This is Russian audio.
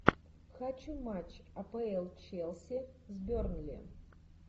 хочу матч апл челси с бернли